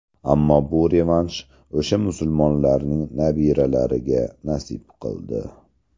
Ammo bu revansh o‘sha musulmonlarning nabiralariga nasib qildi.